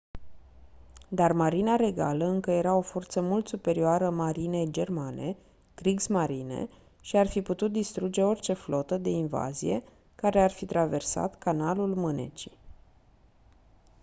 dar marina regală încă era o forță mult superioară marinei germane kriegsmarine” și ar fi putut distruge orice flotă de invazie care ar fi traversat canalul mânecii